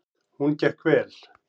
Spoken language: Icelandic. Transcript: Hún gekk vel.